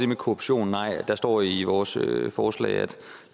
med korruption nej der står i vores forslag at